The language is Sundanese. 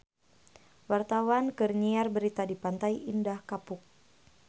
Wartawan keur nyiar berita di Pantai Indah Kapuk